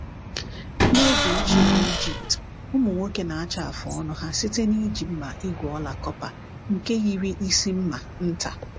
N’oge ochie n’Ijipt, ụmụ nwoke na-acha afụ ọnụ ha site n’iji mma igwe ọla kọpa nke yiri isi mma nta.